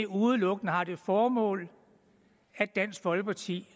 udelukkende har det formål at dansk folkeparti